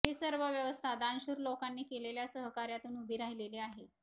ही सर्व व्यवस्था दानशूर लोकांनी केलेल्या सहकार्यातून उभी राहिलेली आहे